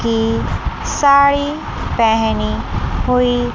के साड़ी पहनी हुई।